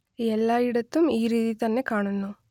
എല്ലായിടത്തും ഈ രീതി തന്നെ കാണുന്നു